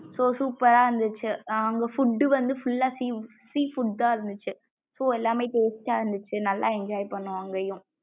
so super ரா இருந்துச்சு அங்க food வந்து full லா sea food தான் இருந்துச்சு so எல்லாமமே taste இருந்துச்சு நல்லா enjoy பண்ணோம் அங்கையும் sosuper ரா இருந்துச்சு.